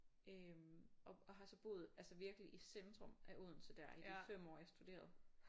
Øh og har så boet altså virkelig i centrum af Odense der i de 5 år jeg studerede